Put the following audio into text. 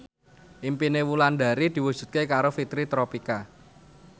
impine Wulandari diwujudke karo Fitri Tropika